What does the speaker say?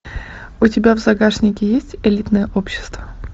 у тебя в загашнике есть элитное общество